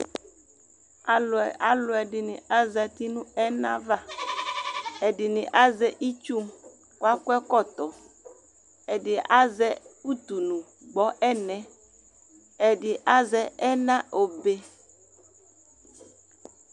Alʋ ɛdini azati nʋ ɛna va, ɛdini azɛ itsu kʋ aKɔ ɛkɔtɔ Ɛdi azɛ utunu gbɔ ɛna, ɛdi azɛ ɛna obe